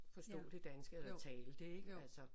Forstå det danske eller tale det ik altså